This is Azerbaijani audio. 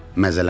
Məzələndim.